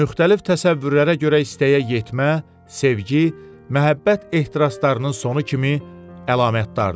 Müxtəlif təsəvvürlərə görə istəyə yetmə, sevgi, məhəbbət ehtiraslarının sonu kimi əlamətdardır.